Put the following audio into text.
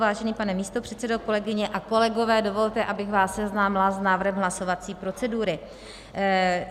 Vážený pane místopředsedo, kolegyně a kolegové, dovolte, abych vás seznámila s návrhem hlasovací procedury.